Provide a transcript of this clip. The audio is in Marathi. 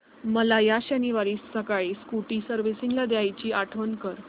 मला या शनिवारी सकाळी स्कूटी सर्व्हिसिंगला द्यायची आठवण कर